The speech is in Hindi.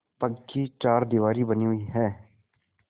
पक्की चारदीवारी बनी हुई है